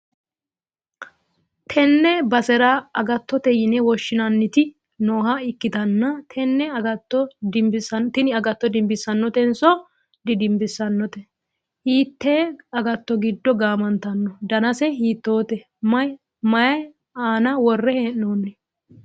tenne basera agattote yine woshhsinaniti nooha ikkitanna, tenne agatto dinbissannotenso didinbisannote ? hiitte agatto giddo gaamantanno? danase hiittote? may aana worre hee'noonni?